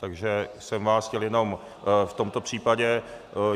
Takže jsem vás chtěl jenom v tomto případě...